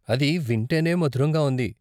అది వింటేనే మధురంగా ఉంది.